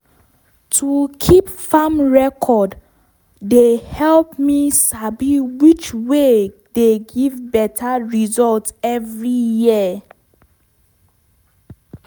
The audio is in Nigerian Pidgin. i build wind block with bamboo mat for edge of my okra farm.